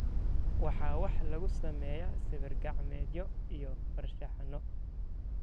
Wax waxaa lagu sameeyaa sawir-gacmeedyo iyo farshaxanno.